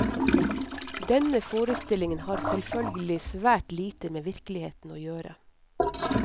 Denne forestillingen har selvfølgelig svært lite med virkeligheten å gjøre.